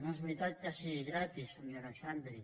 no és veritat que sigui gratis senyora xandri